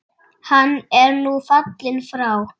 Hann er nú fallinn frá.